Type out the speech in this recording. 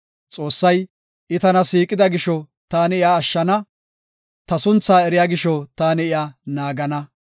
Xoossay, “I tana siiqida gisho taani iya ashshana; ta sunthaa eriya gisho taani iya naagana.